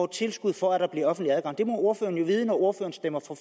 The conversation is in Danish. tilskud for at der bliver offentlig adgang det må ordføreren jo vide når ordføreren stemmer